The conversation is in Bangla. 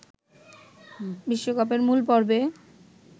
বিশ্বকাপের মূল পর্বে